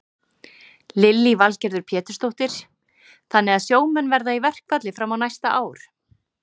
Lillý Valgerður Pétursdóttir: Þannig að sjómenn verða í verkfalli fram á næsta ár?